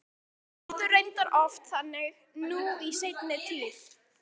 En henni líður reyndar oft þannig nú í seinni tíð.